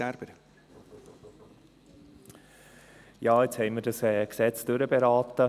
Nun haben wir dieses Gesetz durchberaten.